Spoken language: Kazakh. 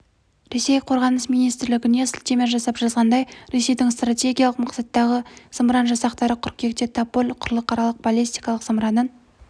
ресей қорғаныс министрлігіне сілтеме жасап жазғандай ресейдің стратегиялық мақсаттағы зымыран жасақтары қыркүйекте тополь-м құрылықаралық баллистикалық зымыранын